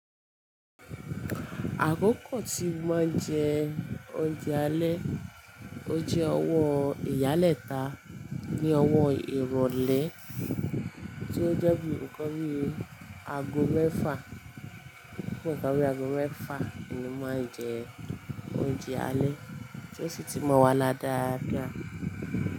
Àkókò tí máa ń jẹ oúnjẹ alẹ́, ó jẹ́ ọwọ́ ìyálẹ́ta ní ọwọ́ ìrọ̀lẹ́ tí ó jẹ́ bí ǹkan bí àgọ̀ mẹ́fà, bí ǹkan bí àgọ̀ mẹ́fà ni máa ń jẹ oúnjẹ alẹ́ tí ó sì ti mọ̀ wá lára dáadáa.